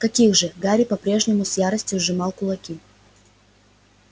каких же гарри по-прежнему с яростью сжимал кулаки